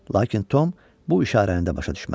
Lakin Tom bu işarəni də başa düşmədi.